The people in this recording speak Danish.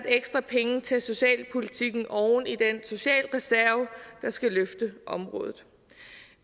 ekstra penge til socialpolitikken oven i den socialreserve der skal løfte området